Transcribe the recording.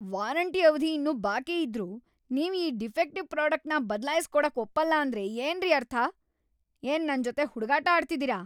Warranty ಅವಧಿ ಇನ್ನೂ ಬಾಕಿಯಿದ್ರೂ ನೀವ್ ಈ ಡಿಫೆಕ್ಟಿವ್‌‌ ಪ್ರಾಡಕ್ಟ್‌ನ ಬದ್ಲಾಯ್ಸ್‌ ಕೊಡಕ್‌ ಒಪ್ಪಲ್ಲ ಅಂದ್ರೆ ಏನ್ರೀ ಅರ್ಥ?! ಏನ್‌ ನನ್ಜೊತೆ ಹುಡ್ಗಾಟ ಆಡ್ತಿದೀರ?!